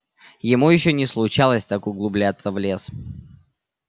ему ещё не случалось так углубляться в лес